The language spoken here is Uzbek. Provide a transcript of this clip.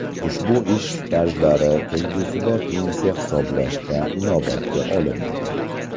Ushbu ish stajlari kelgusida pensiya hisoblashda inobatga olinadi.